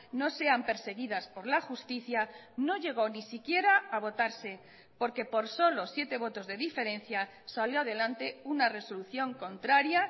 no sean perseguidas por la justicia no llegó ni siquiera a votarse porque por solo siete votos de diferencia salió adelante una resolución contraria